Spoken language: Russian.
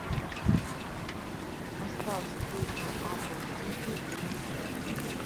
поставь встречу апл сити и манчестер